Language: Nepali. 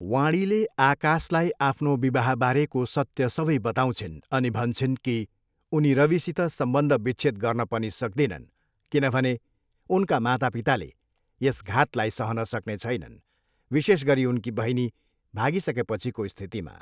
वाणीले आकाशलाई आफ्नो विवाहबारेको सत्य सबै बताउँछिन् अनि भन्छिन् कि उनी रविसित सम्बन्ध विच्छेद गर्न पनि सक्दिनन् किनभने उनका माता पिताले यस घातलाई सहन सक्ने छैनन्, विशेष गरी उनकी बहिनी भागिसकेपछिको स्थितिमा।